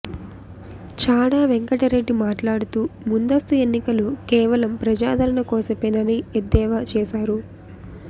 చాడ వెంకటరెడ్డి మాట్లాడుతూ ముందస్తు ఎన్నికలు కేవలం ప్రజాదరణ కోసమేనని ఎద్దేవా చేశారు